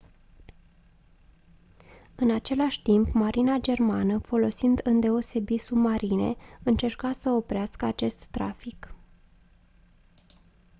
în același timp marina germană folosind îndeosebi submarine încerca să oprească acest trafic